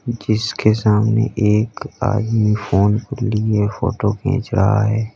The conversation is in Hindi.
जिसके सामने एक आदमी फोन लिए फोटो खींच रहा है।